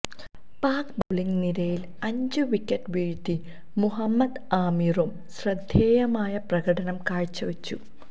pack bowling നിരയില് അഞ്ച് wicket വീഴ്ത്തി മുഹമ്മദ് ആമിറും ശ്രദ്ധേയമായ പ്രകടനം കാഴ്ചവച്ചു